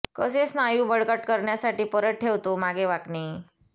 कसे स्नायू बळकट करण्यासाठी परत ठेवतो मागे वाकणे